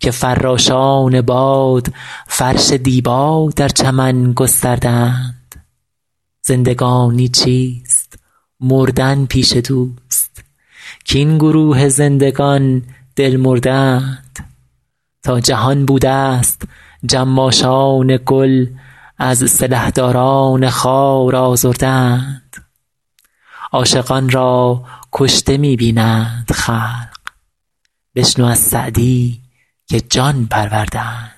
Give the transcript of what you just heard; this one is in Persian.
که فراشان باد فرش دیبا در چمن گسترده اند زندگانی چیست مردن پیش دوست کاین گروه زندگان دل مرده اند تا جهان بودست جماشان گل از سلحداران خار آزرده اند عاشقان را کشته می بینند خلق بشنو از سعدی که جان پرورده اند